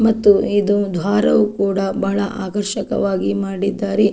ಮತ್ತು ಇದು ಒಂದು ಹಾರವು ಕೂಡ ಬಹಳ ಆಕರ್ಷಕವಾಗಿ ಮಾಡಿದ್ದಾರೆ.